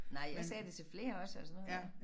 Nej jeg sagde det til flere også altså nu her